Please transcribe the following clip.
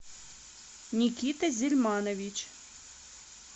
никита зельманович